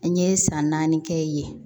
N ye san naani kɛ yen